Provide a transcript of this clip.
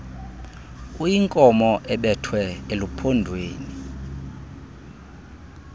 uyinkomo ebethwe eluphondweni